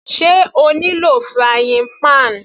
Sé O ní lò frying pan?